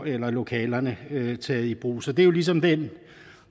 eller lokalerne taget i brug så det er jo ligesom den